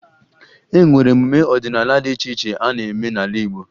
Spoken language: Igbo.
E nwere emume ọdịnaala dị iche iche a na-eme n'ala Igbo